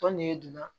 Tɔn ne donna